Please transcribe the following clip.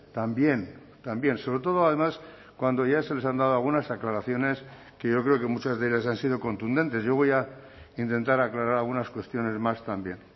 también también sobre todo además cuando ya se les han dado algunas aclaraciones que yo creo que muchas de ellas han sido contundentes yo voy a intentar aclarar algunas cuestiones más también